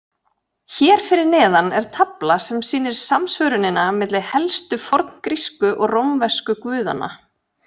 Hér fyrir neðan er tafla sem sýnir samsvörunina milli helstu forngrísku og rómversku guðanna.